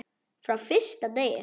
Frá fyrsta degi.